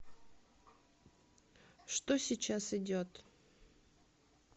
что сейчас идет